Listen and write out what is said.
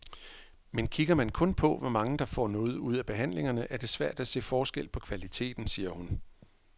Men kigger man kun på, hvor mange der får noget ud af behandlingerne, er det svært at se forskel på kvaliteten, siger hun.